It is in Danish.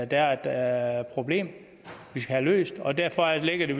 der er et problem vi skal have løst og derfor ligger det